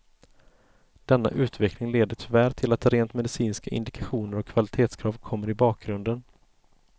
Denna utveckling leder tyvärr till att rent medicinska indikationer och kvalitetskrav kommer i bakgrunden.